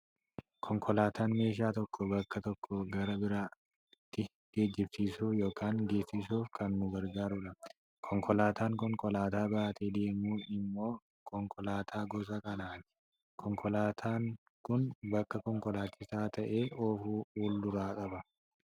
Konkolaataan meeshaa tokko bakka tokkoo gara bakka biraatti geejjibsiisuuf yookaan geessuuf kan nu gargaarudha. Konkolaataan konkolaataa baatee deemus immoo konkolaataa gosa kanaati. Konkolaataan Kun bakka konkolaachisaan taa'ee oofu fulduraa qaba.